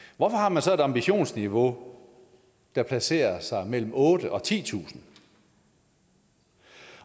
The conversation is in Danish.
hvorfor har man så et ambitionsniveau der placerer sig mellem otte tusind og titusind